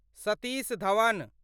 Satish Dhawan